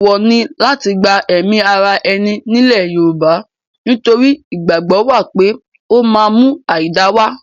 Èèwọ̀ ni láti gba ẹ̀ẹ̀mí ara ẹni nílẹ̀ Yorùbá nítorí ìgbàgbọ́ wà pé ó máa ń mú àìda wá.